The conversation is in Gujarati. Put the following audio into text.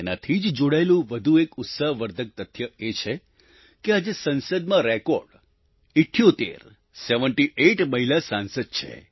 તેનાથી જ જોડાયેલું વધુ એક ઉત્સાહવર્ધક તથ્ય એ છે કે આજે સંસદમાં રેકોર્ડ 78 સેવેન્ટી આઇટ મહિલા સાંસદ છે